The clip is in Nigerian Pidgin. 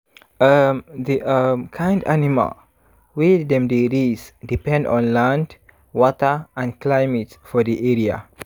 um the um kind animal wey dem dey raise depend on land water and climate for di area.